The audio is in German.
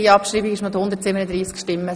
Sie haben Ziffer fünf abgeschrieben.